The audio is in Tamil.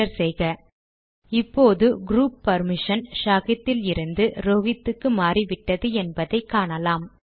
என்டர் செய்க இப்போது க்ரூப் பர்மிஷன் ஷாஹித் இலிருந்து ரோஹித் க்கு மாறிவிட்டது என்பதை காணலாம்